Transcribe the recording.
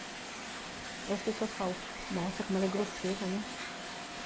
Aí as pessoas falam, nossa, como ela é grosseira, né?